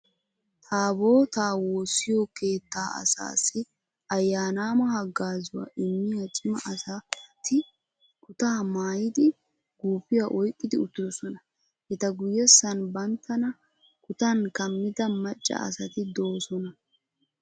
Taabootaa woossiyo keettaa asaassi ayyaanaamma haggaazuwa immiya cima asati kutaa maayidi guufiya oyqqi uttidosona. Eta guyyessan banttana kutan kammida macca asati doosona.